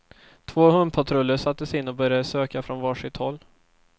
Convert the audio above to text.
Två hundpatruller sattes in och började söka från var sitt håll.